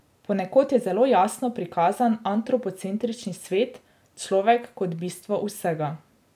Ponekod je zelo jasno prikazan antropocentrični svet, človek kot bistvo vsega.